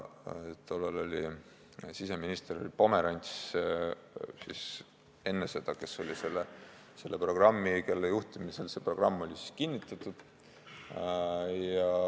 Tollal oli siseminister Pomerants, kelle juhtimisel see programm oli kinnitatud.